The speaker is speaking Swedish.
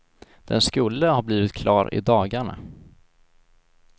Den skulle ha blivit klar i dagarna.